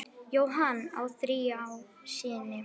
Jóhann á þrjá syni.